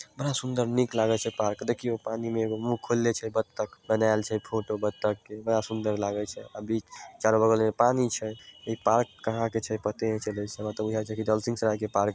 बड़ा सुंदर नीक लगे छै पार्क देखिए पानी में मुँह खोलने छै बत्तख बनाएल छै फोटो बत्तख के बड़ा सुंदर लागे छै अभी चारो बगल में पानी छै इ पार्क कहा के छै पते ने चले छै हमरा ते बूझाय छै ।